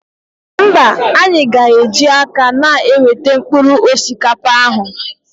Mba, anyị ga eji aka na-eweta mkpụrụ osikapa ahụ